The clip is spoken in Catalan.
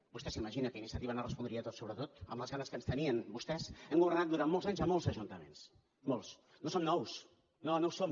vostè s’imagina que iniciativa no hagués respost sobre tot amb les ganes que ens tenien vostès hem governat durant molts anys a molts ajuntaments molts no som nous no no ho som